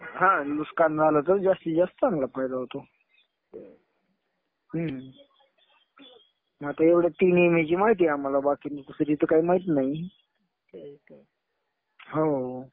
हा नुकसान झालं तर जास्तीत जास्त चांगला फायदा होतो. हम्म. मग एवढ्या तीन विम्याची माहिती आहे आम्हाला. बाकी दुसरी तर काही माहित नाही. हो.